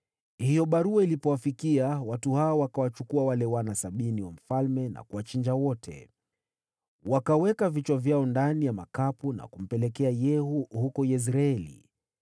Hiyo barua ilipowafikia, watu hawa wakawachukua wale wana sabini wa mfalme na kuwachinja wote. Wakaweka vichwa vyao ndani ya makapu na kumpelekea Yehu huko Yezreeli.